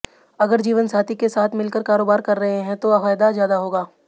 अगर जीवनसाथी के साथ मिल कर कारोबार कर रहे हैं तो फायदा ज्यादा होगा